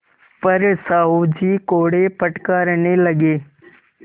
पर साहु जी कोड़े फटकारने लगे